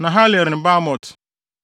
Nahaliel ne Bamot,